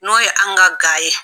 N'o ye an ka ga ye